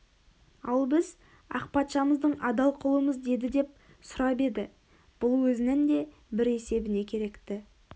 ал біз ақ патшамыздың адал құлымыз деді деп сұрап еді бұл өзінің де бір есебіне керекті